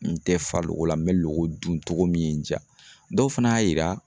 N tɛ fa logo la n bɛ logo dun cogo min ye n diya dɔw fana y'a yira